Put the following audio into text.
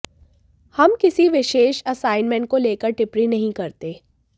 हम किसी विशेष असाइनमेंट को लेकर टिप्पणी नहीं करते